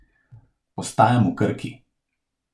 Ostajam v Krki.